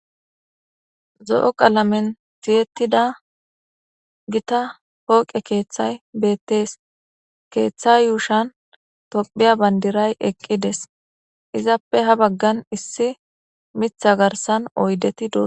Zo'o qalamen siyettida gita hooqe keeththay beettees keeththa yuushan tophiya bandiray eqqides izappe ha baggan issi mitha garsan oydeti do.